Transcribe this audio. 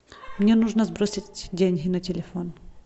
мне нужно сбросить деньги на телефон